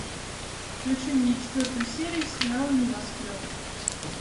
включи мне четвертую серию сериала небоскреб